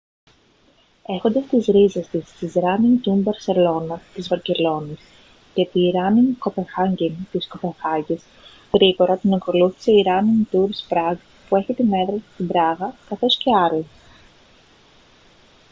έχοντας τις ρίζες της στη ράνινγκ τουρς μπαρσελόνα της βαρκελώνης και τη ράνινγκ κοπενχάγκεν της κοπενχάγης γρήγορα την ακολούθησε η ράνινγκ τουρς πραγκ που έχει την έδρα της στην πράγα καθώς και άλλες